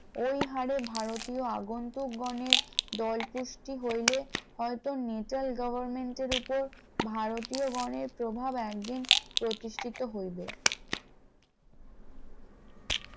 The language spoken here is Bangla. ওই হারে ভারতীয় আগন্তুক গণের দল পুষ্টি হইলে হয়তো মিতাল government এর উপর ভারতীয় গণের প্রভাব একদিন প্রতিষ্ঠিত হইবে ।